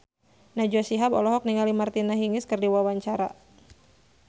Najwa Shihab olohok ningali Martina Hingis keur diwawancara